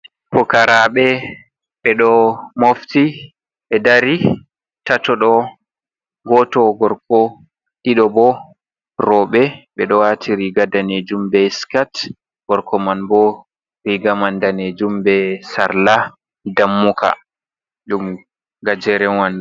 Fukarabe ɓeɗo mofti be dari tatodo goto gorko, ɗido bo roɓe. Ɓedo wati riga danejum be scet. Gorko man bo riga man danejum be sarla dammuka.